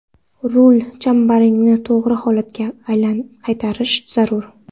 rul chambaragini to‘g‘ri holatga qaytarish zarur.